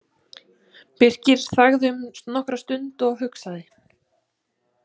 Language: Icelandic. Birkir þagði nokkra stund og hugsaði.